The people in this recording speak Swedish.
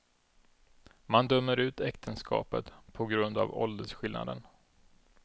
Man dömer ut äktenskapet på grund av åldersskillnaden.